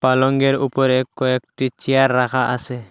পালংয়ের ওপরে কয়েকটি চেয়ার রাখা আসে।